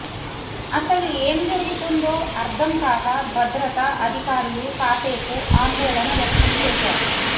అసలు ఎం జరుగుతుందో అర్ధం కాక భద్రతా అధికారులు కాసేపు ఆందోళన వ్యక్తం చేసారు